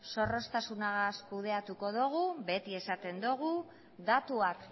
zorroztasunarekin kudeatuko dugu beti esaten dugu datuak